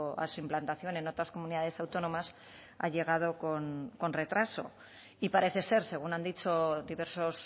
a su implantación en otras comunidades autónomas ha llegado con retraso y parece ser según han dicho diversos